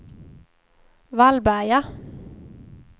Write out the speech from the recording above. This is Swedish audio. Vallberga